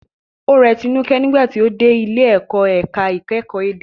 Ó rẹ Tinuke nígbà tí ó dé ilé ìkọ́ ẹ̀ka ìkẹ́kọ̀ọ́ èdè.